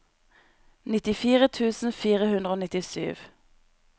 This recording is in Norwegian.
nittifire tusen fire hundre og nittisju